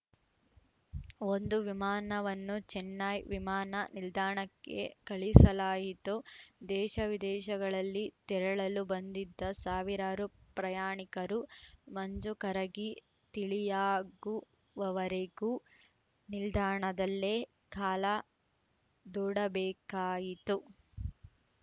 ಒಂದು ವಿಮಾನವನ್ನು ಚೆನ್ನೈ ವಿಮಾನ ನಿಲ್ದಾಣಕ್ಕೆ ಕಳಿಸಲಾಯಿತು ದೇಶವಿದೇಶಗಳಲ್ಲಿ ತೆರಳಲು ಬಂದಿದ್ದ ಸಾವಿರಾರು ಪ್ರಯಾಣಿಕರು ಮಂಜು ಕರಗಿ ತಿಳಿಯಾಗುವವರೆಗೂ ನಿಲ್ದಾಣದಲ್ಲೇ ಕಾಲ ದೂಡಬೇಕಾಯಿತು